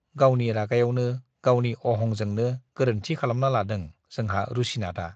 गावनि रागायावनो, गावनि अहंजोंनो गोरोन्थि खालामना लादों जोंहा रुसिनाथआ।